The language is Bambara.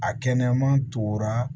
A kɛnɛman tora